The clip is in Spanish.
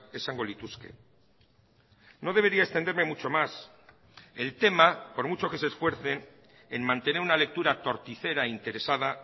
esango lituzke no debería extenderme mucho más el tema por mucho que se esfuercen en mantener una lectura torticera interesada